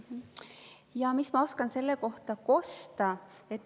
No mis ma oskan selle kohta kosta.